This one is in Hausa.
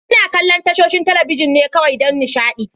Ina kallon tashoshin talabijin ne kawai don nishaɗi.